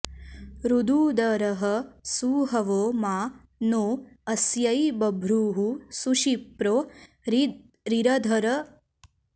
ऋ॒दू॒दरः॑ सु॒हवो॒ मा नो॑ अ॒स्यै ब॒भ्रुः सु॒शिप्रो॑ रीरधन्म॒नायै॑